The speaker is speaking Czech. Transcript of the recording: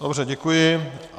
Dobře, děkuji.